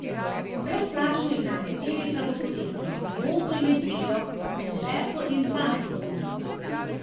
Brezplačno igranje tenisa bo potekalo v soboto in nedeljo med deveto in dvanajsto uro.